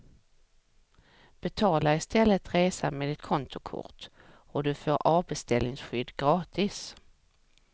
Betala istället resan med ditt kontokort och du får avbeställningsskydd gratis.